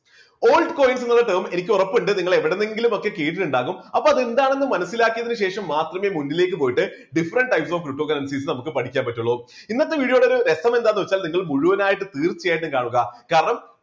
altcoins എന്ന term എനിക്ക് ഉറപ്പുണ്ട് നിങ്ങൾ എവിടുന്നെങ്കിലും ഒക്കെ കേട്ടിട്ടുണ്ടാവും അപ്പോൾ എന്താണെന്ന് മനസ്സിലാക്കിയതിനു ശേഷം മാത്രമേ മുന്നിലേക്ക് പോയിട്ട് different types of cryptocurrencies നമുക്ക് പഠിക്കാൻ പറ്റുള്ളൂ ഇന്നത്തെ video യുടെ രസം എന്താണെന്ന് വെച്ചാൽ നിങ്ങൾ മുഴുവനായിട്ടും തീർച്ചയായിട്ടും കാണുക കാരണം